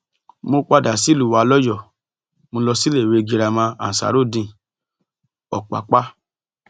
mo padà sílùú wa lọyọọ mo lọ síléèwé girama ansarudeen opapa